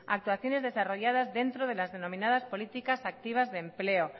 actuaciones desarrolladas dentro de las denominadas políticas activas de empleo